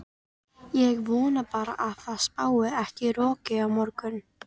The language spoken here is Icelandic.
Ég vona bara að það spái ekki roki á morgun.